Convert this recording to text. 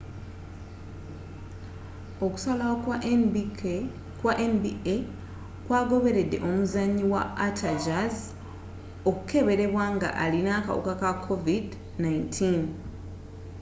okusalawo kwa nba kwa goberedde omuzanyi wa utah jazz okukeberebwa nga alina akawuka ka covid-19